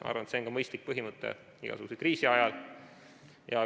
Ma arvan, et see on mõistlik põhimõte igasuguse kriisi ajal.